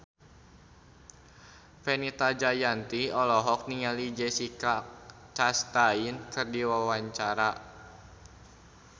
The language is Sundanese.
Fenita Jayanti olohok ningali Jessica Chastain keur diwawancara